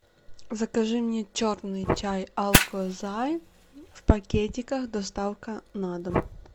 закажи мне черный чай алкозай в пакетиках доставка на дом